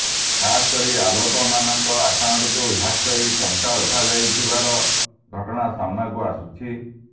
ଖାସକରି ଲୋକମାନଙ୍କ ଆକାଉଣ୍ଟକୁ ହ୍ୟାକ କରି ଟଙ୍କା ଉଠାଯାଉଥିବାର ଘଟଣା ସାମ୍ନାକୁ ଆସୁଛି